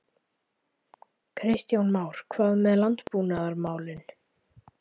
Kristján Már: Hvað með landbúnaðarmálin?